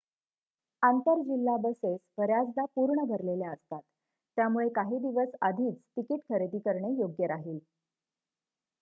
आंतर-जिल्हा buses बर्‍याचदा पूर्ण भरलेल्या असतात त्यामुळे काही दिवस आधीच तिकीट खरेदी करणे योग्य राहील